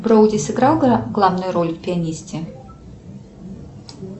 броуди сыграл главную роль в пианисте